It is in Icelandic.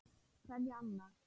Kveðja, Anna.